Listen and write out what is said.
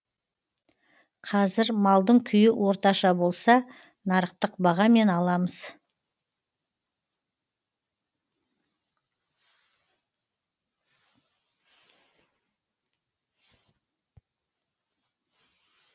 қазір малдың күйі орташа болса нарықтық бағамен аламыз